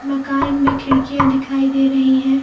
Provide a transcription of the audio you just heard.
मकान में खिड़कियां दिखाई दे रहीं हैं।